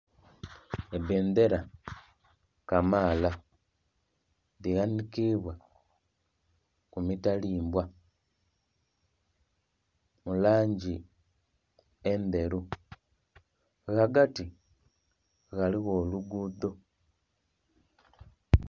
Ebbendera kamaala dhighanikibwa kumitalimbwa mulangi endheru nga ghati ghaligho oluguudo.